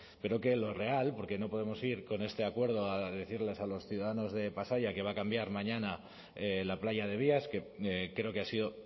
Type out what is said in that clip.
pero que lo real porque no podemos ir con este acuerdo a decirles a los ciudadanos de pasaia que va a cambiar mañana la playa de vías que creo que ha sido